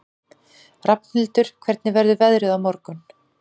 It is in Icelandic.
Rafnhildur, hvernig verður veðrið á morgun?